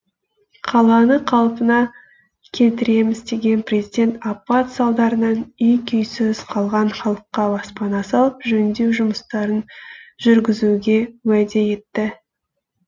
қаланы қалпына келтіреміз деген президент апат салдарынан үй күйсіз қалған халыққа баспана салып жөндеу жұмыстарын жүргізуге уәде етті